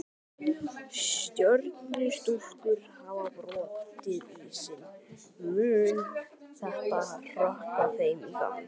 Stjörnustúlkur hafa brotið ísinn, mun þetta hrökkva þeim í gang?